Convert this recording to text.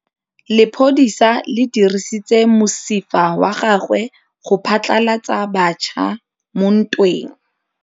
Lepodisa le dirisitse mosifa wa gagwe go phatlalatsa batšha mo ntweng.